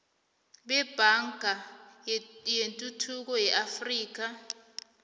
nebhanka yetuthuko yeafrika